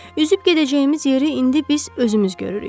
Üzüb gedəcəyimiz yeri indi biz özümüz görürük.